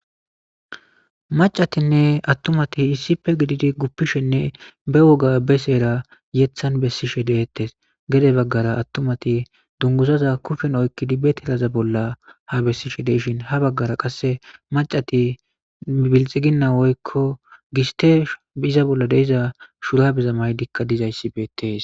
Maccatinne atumat issippe gidid gupishenne be woga be sera heeththan besishshe deetes gede bagani atumat duniguzoza kushshen be tiraza bola hamisishe deishin oyikkidi ha bagara qase macat bilixigina woyikko gusitrw iza bola deiza shurabezakka mayidi dizayisi beettesi